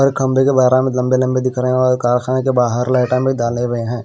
खम्बे के बाहर लम्बे लम्बे दिख रहे हैं और कारखाने के बहार में डाले हुए हैं।